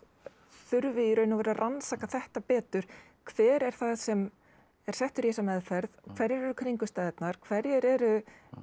þurfi í raun og veru að rannsaka þetta betur hver er það sem er settur í þessa meðferð hverjar eru kringumstæðurnar hverjir eru